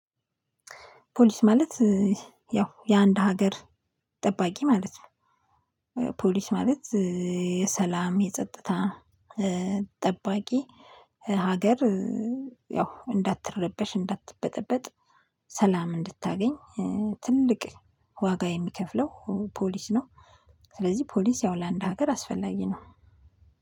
ፖሊስ ማለት ያው የአንድ ሀገር ጠባቂ ማለት ነው። ፖሊስ ማለት የሰላም የጸጥታ ጠባቂ። ሀገር ያው እንዳትረበሽ እንዳትበጠበጥ ሰላም እንድታገኝ ትልቅ ዋጋ የሚከፍለው ፖሊስ ነው። ስለዚህ ፖሊስ ያው ለአንድ ሀገር አስፈላጊ ነው።